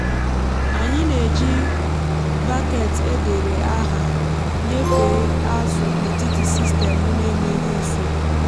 anyị na-eji baket e dere aha nyefe azụ n’etiti sistemụ n’enweghị nsogbu.